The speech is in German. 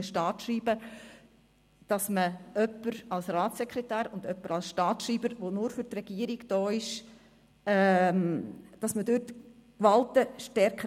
Um die Gewalten stärker zu trennen, hat man vielmehr jemanden als Ratssekretär und jemand anderen als Staatsschreiber, der nur für die Regierung da ist.